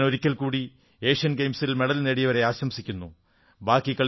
ഞാൻ ഒരിക്കൽകൂടി ഏഷ്യൻ ഗെയിംസിൽ മെഡൽ നേടിയവരെ ആശംസിക്കുന്നു